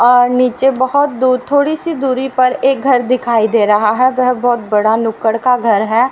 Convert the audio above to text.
और नीचे बहुत दूर थोड़ी सी दूरी पर एक घर दिखाई दे रहा है वह बहुत बड़ा नुक्कड़ का घर है।